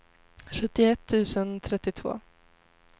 sjuttioett tusen trettiotvå